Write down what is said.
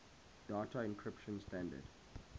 data encryption standard